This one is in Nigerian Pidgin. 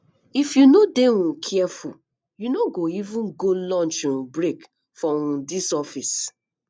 if you no dey um careful you no go even go lunch um break for um dis office